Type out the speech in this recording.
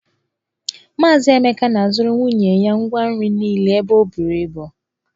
Mazị Emeka na-azụrụ nwunye ya ngwa nri niile ebe o buru ibu.